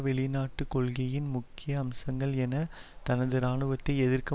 வெளிநாட்டு கொள்கையின் முக்கிய அம்சங்கள் என்ன தனது இராணுவத்தை எதிர்க்க